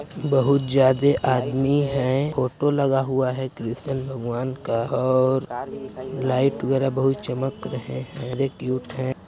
बहुत ज्यादा आदमी है फोटो लगा हुआ है कृष्ण भगवान का और लाइट वगैरा बहुत चमक रहे हैं।